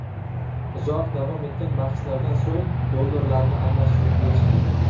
Uzoq davom etgan bahslardan so‘ng, dollarlarni almashtirib berishgan.